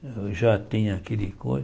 Eu já tinha aquele